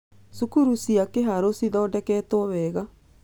Cukuru cia Kiharu cithondeketwo wega.